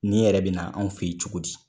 Nin yɛrɛ bi na anw fe yen cogo di?